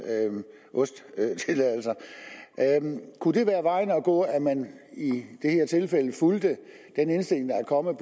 ost tilladelser kunne det være vejen at gå at man i det her tilfælde fulgte den indstilling der er kommet